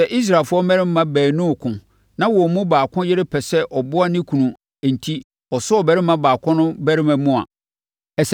Sɛ Israelfoɔ mmarima baanu reko na wɔn mu baako yere pɛ sɛ ɔboa ne kunu enti, ɔsɔ ɔbarima baako no barima mu a,